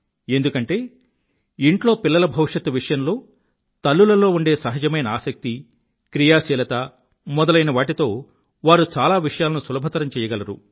ఎందుకంటే ఇంట్లో పిల్లల భవిష్యత్తు విషయంలో తల్లులలో ఉండే సహజమైన ఆసక్తి క్రియాశీలత మొదలైనవాటితో వారు చాలా విషయాలను సులభతరం చెయ్యగలరు